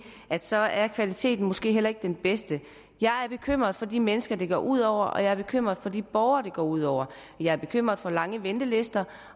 at så er kvaliteten måske heller ikke den bedste jeg er bekymret for de mennesker det går ud over og jeg er bekymret for de borgere det går ud over jeg er bekymret for lange ventelister